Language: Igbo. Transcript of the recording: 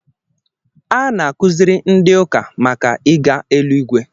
A na-akuziri ndị ụka màkà ịga eluigwe